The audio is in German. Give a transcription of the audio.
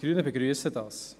Die Grünen begrüssen dies.